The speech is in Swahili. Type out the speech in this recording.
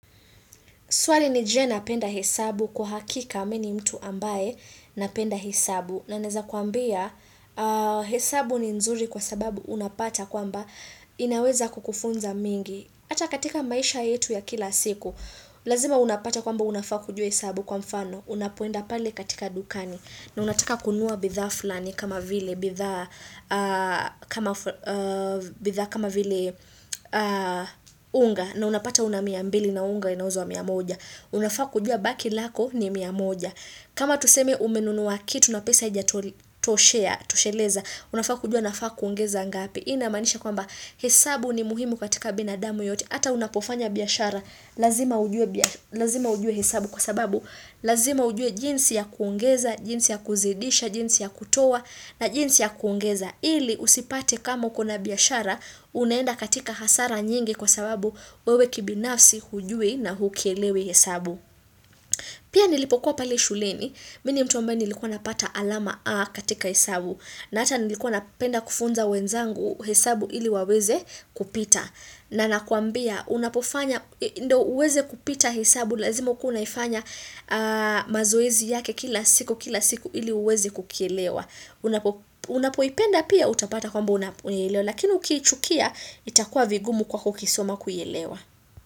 Swali ni je na penda hesabu kwa hakika mini mtu ambaye na penda hesabu. Na naeza kuambia hesabu ni nzuri kwa sababu unapata kwamba inaweza kukufunza mengi. Ata katika maisha yetu ya kila siku, lazima unapata kwamba unafaa kujua hesabu kwa mfano. Unapoenda pale katika dukani. Na unataka kununua bidhaa flani kama vile bidhaa kama vile unga. Unga na unapata una miambili na unga inauzwa miamoja. Unafaa kujua baki lako ni miamoja. Kama tuseme umenunuwa kitu na pesa ija tosheleza. Unafaa kujua nafaa kuongeza ngapi. Hii ina maanisha kwamba hesabu ni muhimu katika binadamu yoyote. Ata unapofanya biashara. Lazima ujue hesabu kwa sababu. Lazima ujue jinsi ya kuongeza, jinsi ya kuzidisha, jinsi ya kutoa na jinsi ya kuongeza. Ili usipate kama ukona biashara, unaenda katika hasara nyingi kwa sababu wewe kibinafsi hujui na hukielewi hesabu. Pia nilipokuwa pale shuleni, mini mtu ambaye nilikuwa napata alama A katika hesabu. Na ata nilikuwa napenda kufunza wenzangu hesabu ili waweze kupita. Na nakwambia, unapofanya, ndo uweze kupita hesabu, lazima ukuwe unaifanya mazoezi yake kila siku, kila siku ili uweze kukielewa. Unapoipenda pia utapata kwamba unaielewa Lakini uki chukia itakuwa vigumu kwa kukisoma kuielewa.